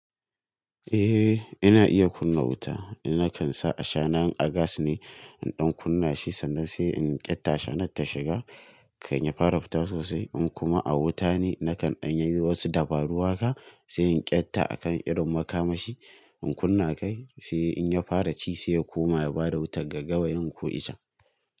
Eh ina iya kunna wuta, ina kan sa a shana in a gas ne in ɗan kunna shi sannan sai in ƙyatta ashana ta shiga kan ya fara fita sosai in kuma a wuta ne nakan in yayi wasu dabaru haka sai in ƙyatta akan irin makamashi in kunna kai sai in ya fara ci sai ya koma ya bada wutar gaggawayen ku icen.